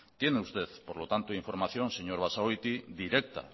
tiene usted por lo tanto información señor basagoiti directa